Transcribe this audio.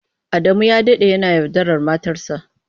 Adamu ya dade yana yaudarar matarsa.